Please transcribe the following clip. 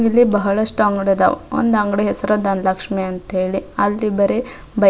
ಇಲ್ಲಿ ಬಹಳಷ್ಟು ಅಂಗಡಿ ಆದವು ಒಂದ್ ಅಂಗಡಿ ಹೆಸರು ದನಲಕ್ಷಿ ಅಂತ ಹೇಳಿ ಅಲ್ಲಿ ಬರೆ ಬೈಕ್ --